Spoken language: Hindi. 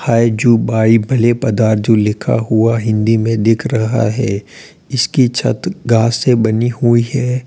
हाय जु बाई भले पधार जू लिखा हुआ हिंदी में दिख रहा है इसकी छत घास से बनी हुई है।